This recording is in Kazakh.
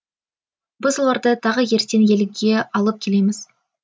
біз оларды тағы ертең елге алып келеміз